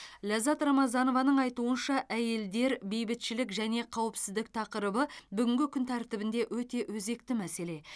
лаззат рамазанованың айтуынша әйелдер бейбітшілік және қауіпсіздік тақырыбы бүгінгі күн тәртібінде өте өзекті мәселе